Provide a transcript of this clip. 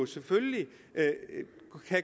selvfølgelig